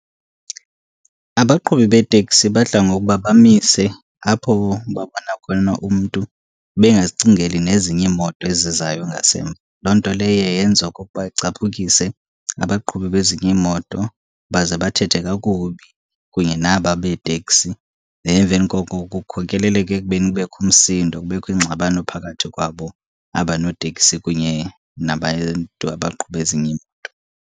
Abaqhubi beeteksi badla ngokuba bamise apho babona khona umntu bengazicingeli nezinye iimoto ezizayo ngasemva. Loo nto leyo iye yenze okokuba icaphukise abaqhubi bezinye iimoto, baze bathethe kakubi kunye naba beeteksi. Then emveni koko kukhokeleleke ekubeni kubekho umsindo, kubekho ingxabano phakathi kwabo aba noteksi kunye nabantu abaqhuba ezinye iimoto.